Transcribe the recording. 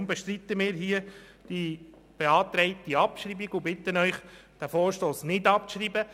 Deshalb bestreiten wir hier die beantragte Abschreibung und bitten Sie, diesen Vorstoss nicht abzuschreiben.